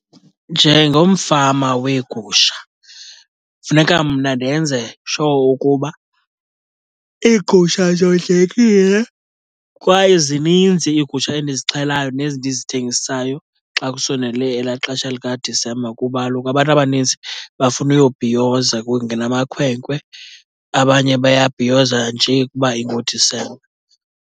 Njengomfama weegusha funeka mna ndenze sure ukuba iigusha zondlekile, kwaye zininzi iigusha endizixhelayo nezi ndizithengisayo xa kusondele elaa xesha likaDisemba, kuba kaloku abantu abanintsi bafuna uyobhiyoza. Kungena amakhwenkwe, abanye bayabhiyoza nje kuba inguDisemba.